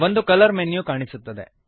ಒಂದು colour menu ಕಾಣಿಸುತ್ತದೆ